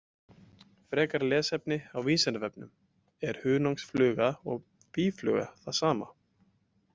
Frekara lesefni á Vísindavefnum: Er hunangsfluga og býfluga það sama?